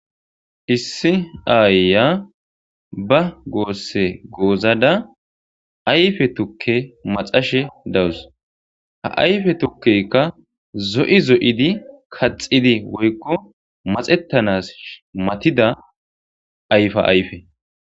issi aayya ba goosse goozada ayfe tukke maxashe dawus ha ayfe tukkeykka zo7i zo7idi kaxidi woykko maxettanas matida ayfa ayfe